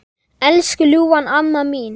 Elsku ljúfa amma mín.